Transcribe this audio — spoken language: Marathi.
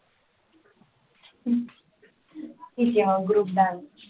ठीक आहे हा group dance